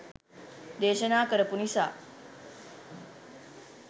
දේශනා කරපු නිසා